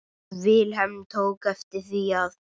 Vilhelm tók eftir því að